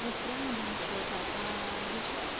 вот прямо до зачёта аа зачёт